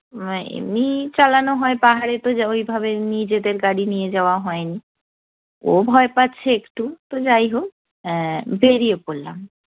এমনিই চালানো হয়, পাহাড়ে তো ওইভাবে নিজেদের গাড়ি নিয়ে যাওয়া হয়নি। ও ভয় পাচ্ছে একটু, তো যাই হোক এ্যা বেড়িয়ে পড়লাম।